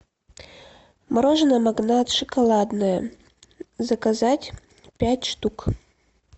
мороженое магнат шоколадное заказать пять штук